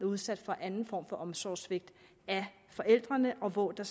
udsat for anden form for omsorgssvigt af forældrene og hvor der